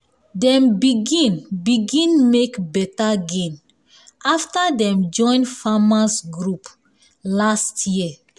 dem begin begin make beta gain after dem join farmers’ group last year